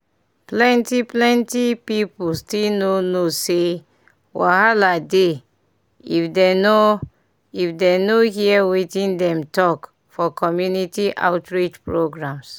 plenty plenty people still no know say wahala dey if dem nor if dem nor hear wetin dem talk for community outreach programs.